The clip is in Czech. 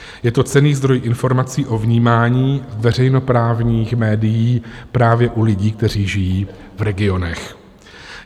Je to cenný zdroj informací o vnímání veřejnoprávních médií právě u lidí, kteří žijí v regionech.